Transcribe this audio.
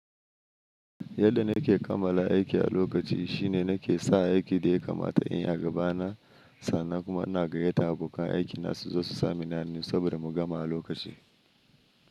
Yadda nake kamala aiki a lokaci shine nake sa aiki da ya kamata in ya gabana sannan kuma na gayyatan abokan aiki na suzo su samini hannu saboda mu gama a lokaci.